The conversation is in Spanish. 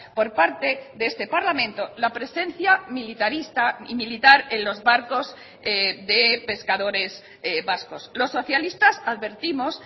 por parte de este parlamento la presencia militarista y militar en los barcos de pescadores vascos los socialistas advertimos